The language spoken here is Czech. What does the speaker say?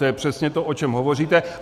To je přesně to, o čem hovoříte.